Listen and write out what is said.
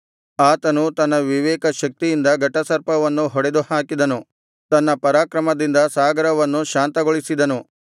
ಆತನು ತನ್ನ ವಿವೇಕ ಶಕ್ತಿಯಿಂದ ಘಟಸರ್ಪವನ್ನು ಹೊಡೆದುಹಾಕಿದನು ತನ್ನ ಪರಾಕ್ರಮದಿಂದ ಸಾಗರವನ್ನು ಶಾಂತಗೊಳಿಸಿದನು